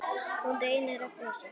Hún reynir að brosa.